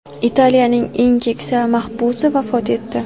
Italiyaning eng keksa mahbusi vafot etdi.